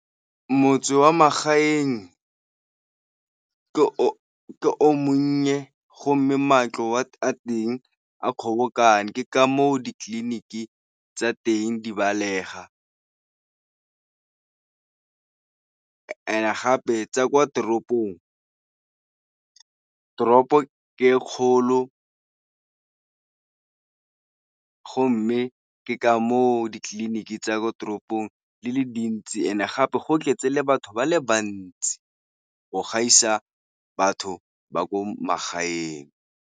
Motse wa magaeng ke o o monnye go mme matlo a teng a kgobokane ke ka moo ditleliniki tsa teng di balega, and-e gape tsa kwa toropong toropo ke e kgolo go mme ke ka moo ditleliniki tsa ko toropong le le dintsi and gape go tletse le batho ba le bantsi go gaisa batho ba ko magaeng.